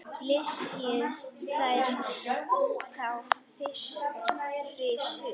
Flysjið þær þá fyrir suðu.